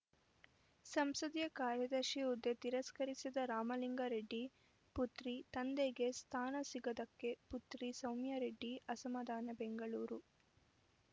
ಸಂಸದೀಯ ಕಾರ್ಯದರ್ಶಿ ಹುದ್ದೆ ತಿರಸ್ಕರಿಸಿದ ರಾಮಲಿಂಗಾ ರೆಡ್ಡಿ ಪುತ್ರಿ ತಂದೆಗೆ ಸ್ಥಾನ ಸಿಗದ್ದಕ್ಕೆ ಪುತ್ರಿ ಸೌಮ್ಯರೆಡ್ಡಿ ಅಸಮಾಧಾನ ಬೆಂಗಳೂರು